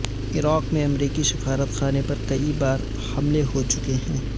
عراق میں امریکی سفارت خانے پر کئی بار حملے ہو چکے ہیں